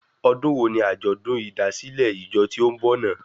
Ọdún wo ni àjọ̀dún ìdásílẹ̀ ìjọ tí ó n bọ̀ náà?